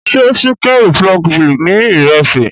Ṣé Chicken republic ni Ìrẹ́sì?